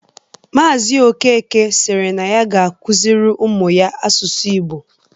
Maazi Okeke siri na ya ga-akụziri ụmụ ya asụsụ Ịgbo